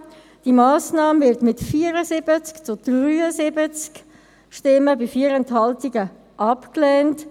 : Die Massnahme wird mit 74 zu 73 Stimmen bei 4 Enthaltungen abgelehnt;